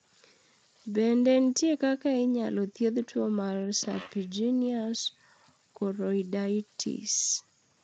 Bende nitie kaka inyalo thiedhi tuo mar serpiginous choroiditis?